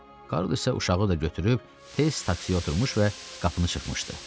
Karl isə uşağı da götürüb tez taksiyə oturmuş və qapını çırpmışdı.